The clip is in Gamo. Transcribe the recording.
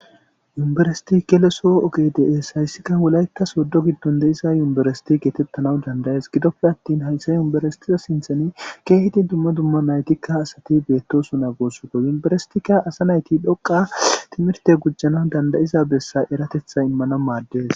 Univereththe gelosoo ogee de7ees; haysika wolayththa sooddo giddon de7isa univeresththe geetheththanawu dandd7ees; gidoppe aththin hayse univeresththiya sinththen keehidi dumma dumma na7ithika asathi beeththoosona gusakko; univeresththeekka asa na7ithi dhoqqa thimirthe gujana danddayiza bessa eratheththaa immanawu maaddes.